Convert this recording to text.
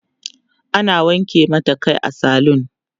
ana wanke mata Kai a saloon